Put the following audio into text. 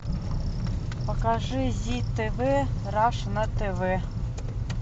покажи зи тв раша на тв